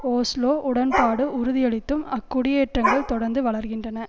Oslo உடன்பாடு உறுதியளித்தும் அக்குடியேற்றங்கள் தொடர்ந்து வளர்கின்றன